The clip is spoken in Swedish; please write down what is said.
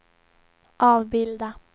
avbilda